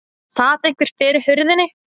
Það sat einhver fyrir hurðinni.